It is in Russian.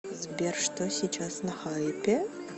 сбер что сейчас на хайпе